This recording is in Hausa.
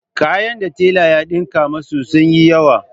Kayan da tela ya ɗinka masu sun yi yawa.